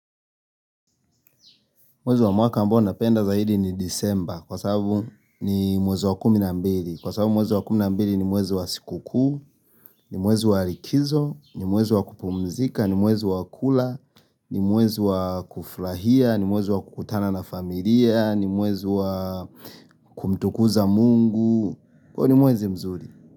Mwezi wa mwaka ambao napenda zaidi ni disemba. Kwa sababu ni mwezi wa kumina mbili. Kwa sababu mwezi wa kuminambili ni mwezi wa sikukuu, ni mwezi wa likizo, ni mwezi wa kupumzika, ni mwezi wa kula, ni mwezi wa kufurahia, ni mwezi wa kutana na familia, ni mwezi wa kumtukuza mungu. Huwa ni mwezi mzuri.